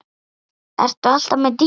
Ert þú alltaf með Dídí?